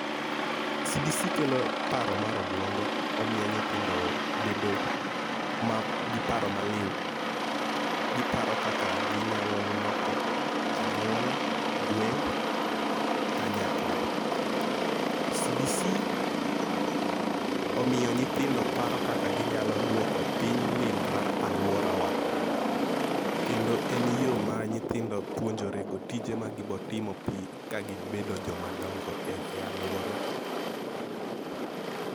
CBC kelo paro mar obuongo omiyo nyithindo bedo ma gi paro maliw, giparo kaka ginyalo loko anyuola gweng' kanyakla. CBC omiyo nyithindo paro kaka ginyalo duoko piny lil mar aluorawa kendo en yoo ma nyithindo puonjore go tije ma gibo timo pi ka gibedo joma dongo e aluora.